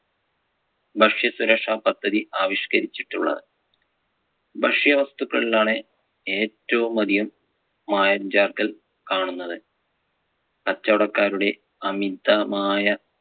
ഭക്ഷ്യസുരക്ഷാ പദ്ധതി ആവിഷ്കരിച്ചിട്ടുള്ളത്. ഭക്ഷ്യവസ്തുക്കളിൽ ആണ് ഏറ്റവും അധികം മായം ചേർക്കൽ കാണുന്നത്. കച്ചവടക്കാരുടെ അമിതമായ